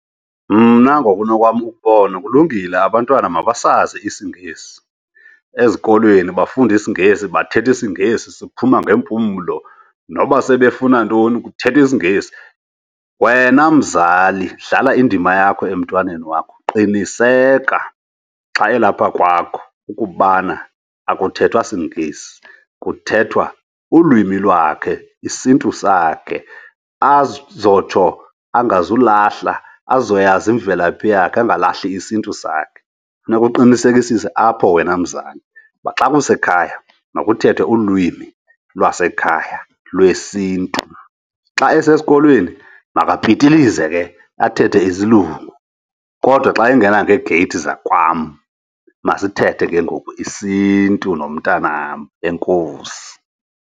Mna ngokunokwam ukubona kulungile abantwana abasazi isiNgesi. Ezikolweni bafunda isiNgesi, bathetha isiNgesi siphuma ngeempumlo, noba sebefuna ntoni kuthethwa isiNgesi. Wena mzali dlala indima yakho emntwaneni wakho, qiniseka xa elapha kwakho ukubana akuthethwa siNgesi, kuthethwa ulwimi lwakhe, isiNtu sakhe azotsho angazulahla. Azoyazi imvelaphi yakhe, angalahli isiNtu sakhe. Funeka uqinisekisise apho wena mzala uba xa kusekhaya, makuthethwe ulwimi lwasekhaya lwesiNtu. Xa esesikolweni makapitilize ke, athethe isilungu kodwa xa engena ngeegeyithi zakwam, masithethe ke ngoku isiNtu nomntanam. Enkosi.